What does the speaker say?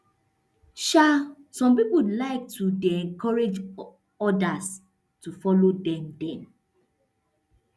um some pipo like to dey encourage odas to follow dem dem